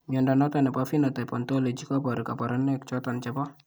Mnyondo noton nebo Phenotype Ontology koboru kabarunaik choton chebo